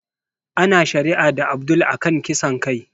Ana shari'a da Abdul a kan kisan kai